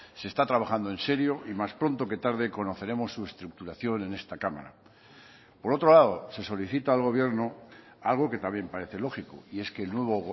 se está trabajando en serio y más pronto que tarde conoceremos su estructuración en esta cámara por otro lado se solicita al gobierno algo que también parece lógico y es que el nuevo